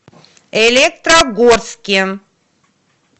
электрогорске